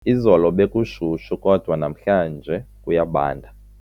Izolo bekushushu kodwa namhlanje kuyabanda.